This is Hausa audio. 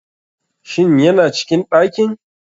Shin yana cikin ɗakin.